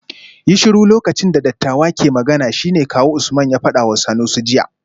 Yi shiru lokacin da dattawa ke magana shine kawu Usman ya fadawa Sanusi jiya